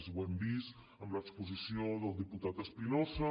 ho hem vist en l’exposició del diputat espinosa